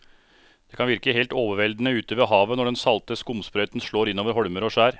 Det kan virke helt overveldende ute ved havet når den salte skumsprøyten slår innover holmer og skjær.